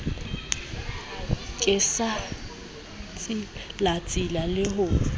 ke sa tsilatsile le ho